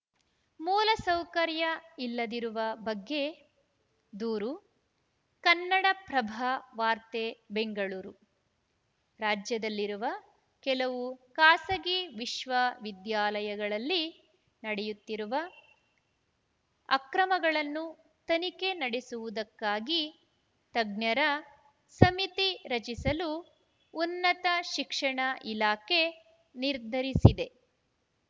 ಮೂಲ ಸೌಕರ್ಯ ಇಲ್ಲದಿರುವ ಬಗ್ಗೆ ದೂರು ಕನ್ನಡಪ್ರಭ ವಾರ್ತೆ ಬೆಂಗಳೂರು ರಾಜ್ಯದಲ್ಲಿರುವ ಕೆಲವು ಖಾಸಗಿ ವಿಶ್ವವಿದ್ಯಾಲಯಗಳಲ್ಲಿ ನಡೆಯುತ್ತಿರುವ ಅಕ್ರಮಗಳನ್ನು ತನಿಖೆ ನಡೆಸುವುದಕ್ಕಾಗಿ ತಜ್ಞರ ಸಮಿತಿ ರಚಿಸಲು ಉನ್ನತ ಶಿಕ್ಷಣ ಇಲಾಖೆ ನಿರ್ಧರಿಸಿದೆ